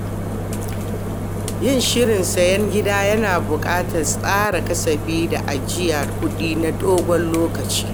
Yin shirin siyan gida yana buƙatar tsara kasafi da ajiyar kuɗi na dogon lokaci.